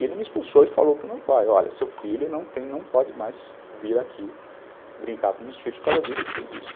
E ele me expulsou e falou para o meu pai, olha, seu filho não pode mais vir aqui brincar com meus filhos por causa disso, disso e disso.